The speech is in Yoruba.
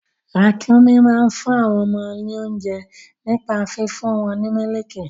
Ràkúnmí máa ń fún àwọn ọmọ wọn lóunjẹ nípa fífún wọn ní mílìkì.